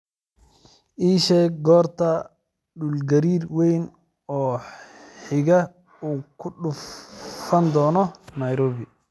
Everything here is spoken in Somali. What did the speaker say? ii sheeg goorta dhulgariir weyn oo xiga uu ku dhufan doono nairobi